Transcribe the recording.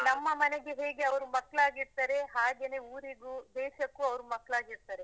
ನಮ್ಮ ಮನೆಗೆ ಹೇಗೆ ಅವ್ರು ಮಕ್ಕಾಳಾಗಿರ್ತ್ತಾರೆ, ಹಾಗೆನೆ ಊರಿಗೂ ದೇಶಕ್ಕೂ ಅವ್ರು ಮಕ್ಕಾಳಾಗಿರ್ತ್ತಾರೆ.